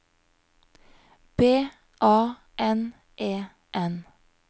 B A N E N